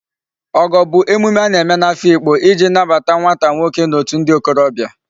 Ogo bu emume a na-eme n'Afikpo iji nnabata nwata nwoke n'otu ndi okorobia